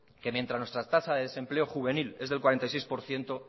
que mientras nuestra tasa de desempleo juvenil es del cuarenta y seis por ciento